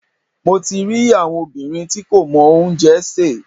Mo ti rí àwọn obìnrin tí kò mọ oúnjẹ sè.